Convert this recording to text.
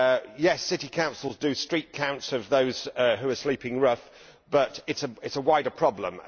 Yes, city councils do street counts of those who are sleeping rough, but it is a wider problem.